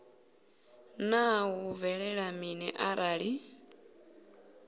naa hu bvelela mini arali